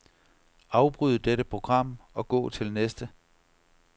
Afbryd dette program og gå til næste.